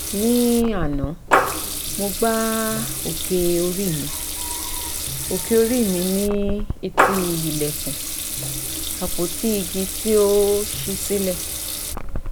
ní àná mo gbá òkè orí mi òkè orí mi ní etí ilẹ̀kùn àpótí igi tí ó ṣí sílẹ̀